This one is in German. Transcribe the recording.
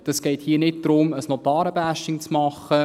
Es geht hier nicht darum, ein Notaren-Bashing zu machen.